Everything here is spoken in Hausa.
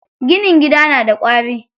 Ginin gida na da ƙwari.